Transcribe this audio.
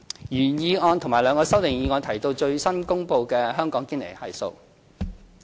原議案和兩項修正案提到最新公布的香港堅尼系數。